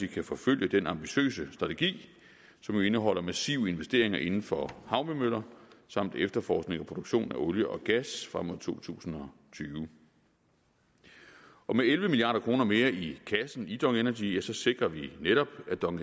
kan forfølge den ambitiøse strategi som jo indeholder massive investeringer inden for havvindmøller samt efterforskning og produktion af olie og gas frem mod to tusind og tyve med elleve milliard kroner mere i kassen i dong energy sikrer vi netop at dong